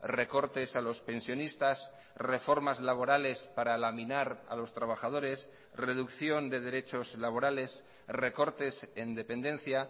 recortes a los pensionistas reformas laborales para laminar a los trabajadores reducción de derechos laborales recortes en dependencia